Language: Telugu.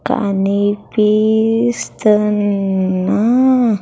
కనిపిస్తున్నా.